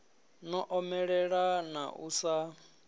no omelela na u sa